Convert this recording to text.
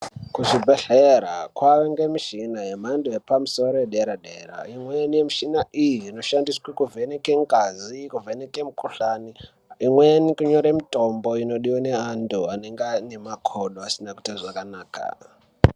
Kuzvibhedhlera kovanikwa michina yemhando yepamusoro yedera-dera. Imweni yemishina iyi inoshandiswe kuvheneka ngazi kuvheneke mikuhlani. Imweni kunyore mitombo inodive nevantu anenge ane makodo asina kuita zvakanaka.